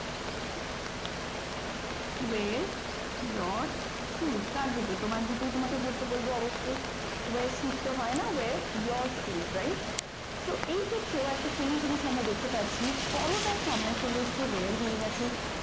wear your shoes কার জুতো তোমার জুতোই তোমাকে পরতে বলব অবশ্যই wear shoes তো হয় না wear your shoes right তো এই ক্ষেত্রেও একটা same জিনিস আমরা দেখতে পাচ্ছি পরো টা সামনে চলে এসো wear হয়ে গেছে।